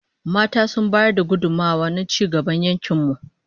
Mata sun bayar da gudummawa na ci gaban yankin mu